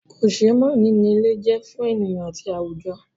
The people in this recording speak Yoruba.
Kòseémánìí ni ilé je fún ènìyàn àti àwùjọ.